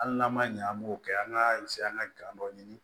Hali n'an ma ɲɛ an b'o kɛ an ka an ka dɔ ɲini